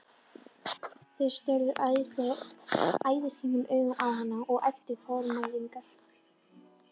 Þeir störðu æðisgengnum augum á hann og æptu formælingar.